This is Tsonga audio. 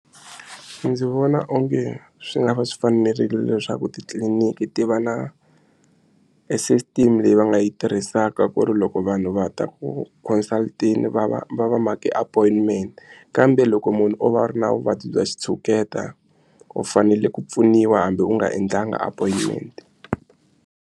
Ndzi vona onge swi nga va swi fanerile leswaku titliniki ti va na e system leyi va nga yi tirhisaka ku ri loko vanhu va ta ku consult-teni va va va va make appointment kambe loko munhu o va a ri na vuvabyi bya xitshuketa u fanele ku pfuniwa hambi u nga endlangi appointment.